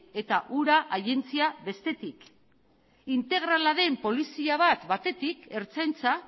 eta ura agentzia bestetik integrala den polizia bat batetik ertzaintza